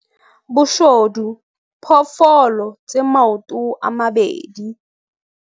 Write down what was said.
Boshodu, phoofolo tse maoto a mabedi.